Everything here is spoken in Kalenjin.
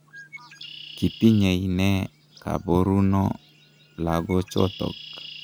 kitinyei nee kaboruno lagochotok?